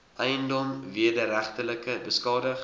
eiendom wederregtelik beskadig